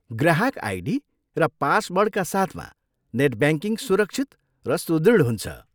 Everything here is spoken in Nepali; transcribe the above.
ग्राहक आइडी र पासवर्डका साथमा नेट ब्याङ्किङ सुरक्षित र सुदृढ हुन्छ।